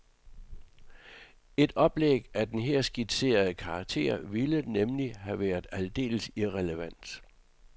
Et oplæg af den her skitserede karakter ville nemlig have været aldeles irrelevant.